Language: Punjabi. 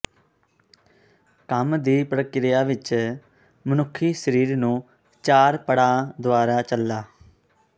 ਕੰਮ ਦੀ ਪ੍ਰਕਿਰਿਆ ਵਿਚ ਮਨੁੱਖੀ ਸਰੀਰ ਨੂੰ ਚਾਰ ਪੜਾਅ ਦੁਆਰਾ ਚਲਾ